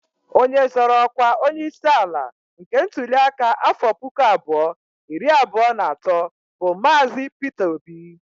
Onye zọrọ ọkwa onyeisi ala nke ntụli aka afọ pụkụ abụọ iri abụọ na atọ bụ Maazi. Pịta Obi